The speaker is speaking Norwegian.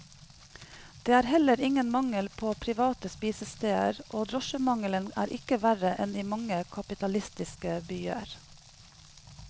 Det er heller ingen mangel på private spisesteder, og drosjemangelen er ikke verre enn i mange kapitalistiske byer.